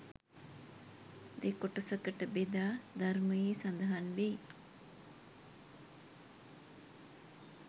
දෙකොටසකට බෙදා ධර්මයේ සඳහන් වෙයි.